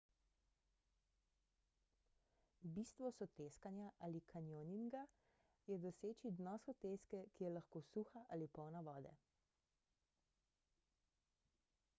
bistvo soteskanja ali kanjoninga je doseči dno soteske ki je lahko suha ali polna vode